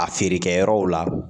A feerekɛyɔrɔw la